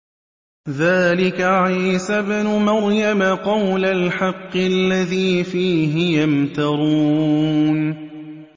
ذَٰلِكَ عِيسَى ابْنُ مَرْيَمَ ۚ قَوْلَ الْحَقِّ الَّذِي فِيهِ يَمْتَرُونَ